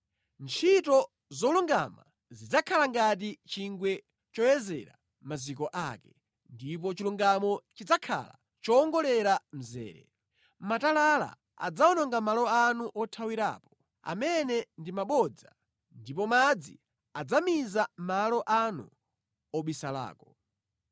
Ntchito zolungama zidzakhala ngati chingwe choyezera maziko ake, ndipo chilungamo chidzakhala chowongolera mzere; matalala adzawononga malo anu othawirapo, amene ndi mabodza, ndipo madzi adzamiza malo anu obisalako.